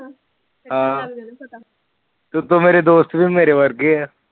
ਹਮ ਉਤੋ ਮੇਰੇ ਦੋਸਤ ਵੀ ਮੇਰੇ ਵਰਗੇ ਏ